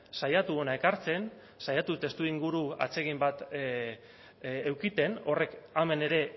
saiatu hona ekartzen saiatu testuinguru atsegin bat edukitzen horrek hemen ere